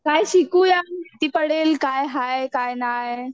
काय शिकूया? महिती पडेल काय हाय काय नाय.